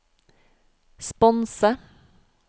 sponse